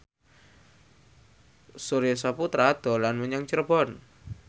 Surya Saputra dolan menyang Cirebon